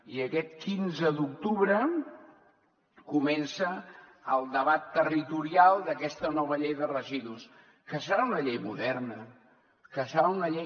i aquest quinze d’octubre comença el debat territorial d’aquesta nova llei de residus que serà una llei moderna que serà una llei